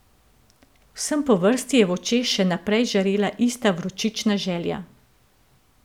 Vsem po vrsti je v očeh še naprej žarela ista vročična želja.